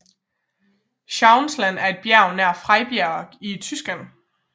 Schauinsland er et bjerg nær Freiburg i Tyskland